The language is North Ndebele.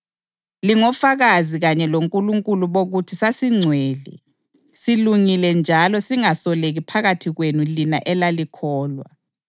Lingofakazi kanye loNkulunkulu bokuthi sasingcwele, silungile njalo singasoleki phakathi kwenu lina elalikholwa.